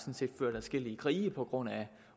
set ført adskillige krige på grund af